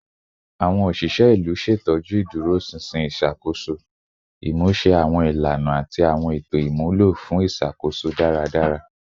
Awọn oṣiṣẹ ilu ṣetọju iduroṣinṣin iṣakoso, imuse awọn ilana ati awọn eto imulo fun iṣakoso daradara